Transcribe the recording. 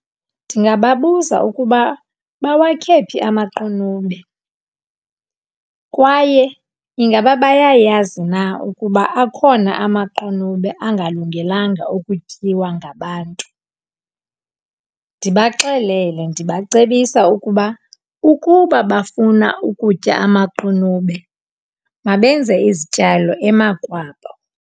Ndingababuza ukuba bawakhe phi amaqunube kwaye ingaba bayayazi na ukuba akhona amaqunube angalungelanga ukutyiwa ngabantu. Ndibaxelele, ndibacebisa ukuba ukuba bafuna ukutya amaqunube mabenze izityalo emakwabo.